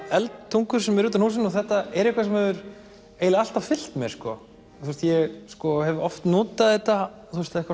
eldtungur sem eru utan á húsinu þetta er eitthvað sem hefur alltaf fylgt mér sko ég hef oft notað þetta